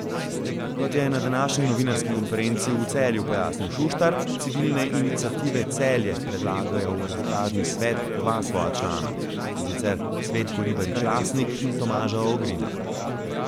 Kot je na današnji novinarski konferenci v Celju pojasnil Šuštar, Civilne iniciative Celje predlagajo v arbitražni svet dva svoja člana, in sicer Cvetko Ribarič Lasnik in Tomaža Ogrina.